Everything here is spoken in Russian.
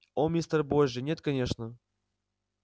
о мистер божья нет конечно